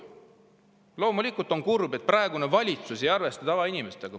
Loomulikult on kurb, et praegune valitsus ei arvesta tavainimestega.